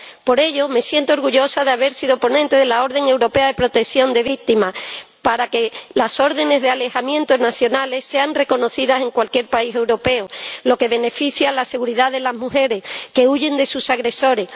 Por ello, me siento orgullosa de haber sido ponente de la orden europea de protección de las víctimas, para que las órdenes de alejamiento nacionales sean reconocidas en cualquier país europeo, lo que favorece la seguridad de las mujeres que huyen de sus agresores.